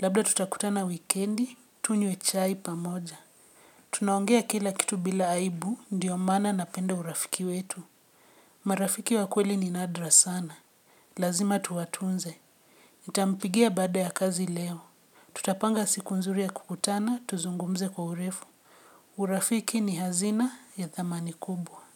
Labda tutakutana wikendi, tunye chai pamoja. Tunaongea kila kitu bila aibu, ndiyo mana napenda urafiki wetu. Marafiki wakweli ni nadra sana. Lazima tuwatunze. Nitampigia baada ya kazi leo. Tutapanga siku nzuri ya kukutana tuzungumze kwa urefu. Urafiki ni hazina ya dhamani kubwa.